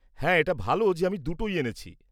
হ্যাঁ, এটা ভালো যে আমি দুটোই এনেছি।